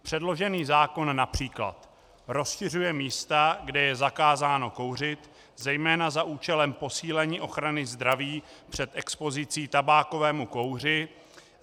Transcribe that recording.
Předložený zákon například rozšiřuje místa, kde je zakázáno kouřit, zejména za účelem posílení ochrany zdraví před expozicí tabákového kouře.